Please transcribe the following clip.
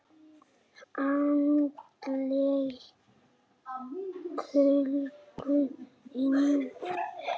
Andleg kölkun: engin.